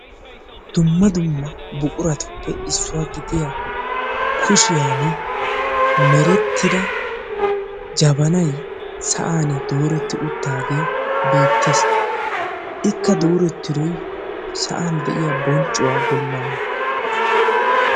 dumma dumma buquratuppe issuwa gidiyaa kushiyaan meretida jabanay sa'an dooreti uttidaage beettees; ikka dooretidoy sa'an de'iya bonccuwaa bollana.